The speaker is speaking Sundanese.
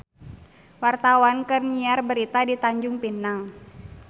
Wartawan keur nyiar berita di Tanjung Pinang